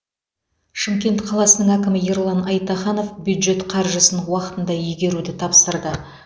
шымкент қаласының әкімі ерлан айтаханов бюджет қаржысын уақытында игеруді тапсырды